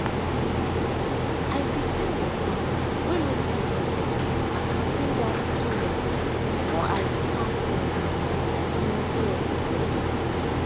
i prepare water way no too hot and come bring out towel before i start um my skincare step.